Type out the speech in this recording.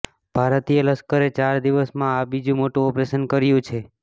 ભારતીય લશ્કરે ચાર દિવસમાં આ બીજું મોટું ઓપરેશન કર્યું છે